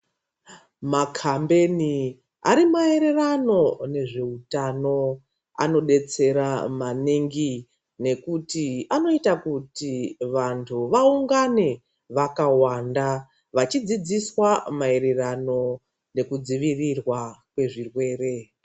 Makambeni ari maererano nezveutano anodetsera maningi nekuti anoita kuti vantu vaungane vakawanda vachidzidziswa maererano nokudzivirirwa kwezvirwere.